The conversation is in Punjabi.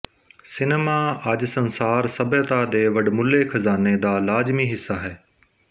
ਸਿਨੇਮਾ ਅੱਜ ਸੰਸਾਰ ਸਭਿਅਤਾ ਦੇ ਵਡਮੁੱਲੇ ਖਜਾਨੇ ਦਾ ਲਾਜ਼ਮੀ ਹਿੱਸਾ ਹੈ